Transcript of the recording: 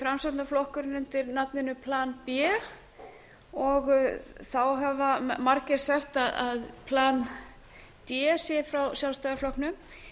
framsóknarflokkurinn undir nafninu plan b og þá hafa margir sagt að plan d sé frá sjálfstæðisflokknum